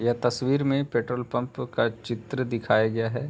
यह तस्वीर में पेट्रोल पंप का चित्र दिखाया गया है।